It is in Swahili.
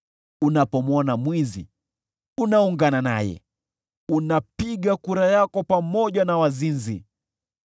Unapomwona mwizi, unaungana naye, unapiga kura yako pamoja na wazinzi.